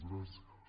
gràcies